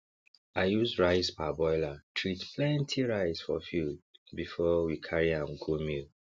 i use rice parboiler treat plenty rice for field before we carry am go mill